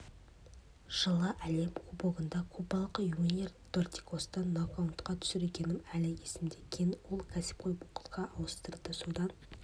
жылы әлем кубогында кубалық юниер дортикосты нокаутқа түсіргенім әлі есімде кейін ол кәсіпқой боксқа ауысты содан